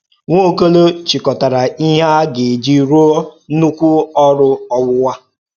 Nwaọ́kò̩ló̩ chịkọ̀tàrà íhè á gà-eji rụ́ọ̀ ńnụ̀kwú ò̩rụ́ ò̩wùwú a.